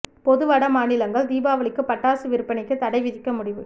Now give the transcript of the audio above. பொது வட மாநிலங்கள் தீபாவளிக்கு பட்டாசு விற்பனைக்கு தடை விதிக்க முடிவு